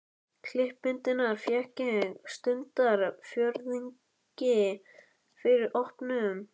Klippimyndirnar fékk ég stundarfjórðungi fyrir opnun.